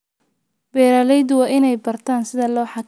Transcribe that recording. Beeraleydu waa inay bartaan sida loo xakameeyo cudurrada dhirta.